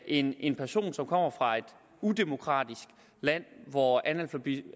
end en person som kommer fra et udemokratisk land hvor analfabetisme